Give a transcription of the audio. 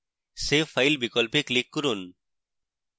save file বিকল্পে click করুন